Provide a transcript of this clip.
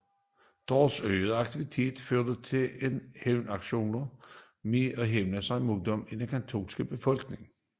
Deres øgede aktiviteter førte nye hævnaktioner med sig mod den katolske befolkning